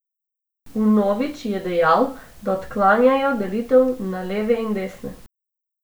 Vnovič je dejal, da odklanjajo delitev na leve in desne.